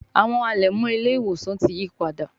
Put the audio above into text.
Àwọn alẹmọ ile-iwosan tí yípadà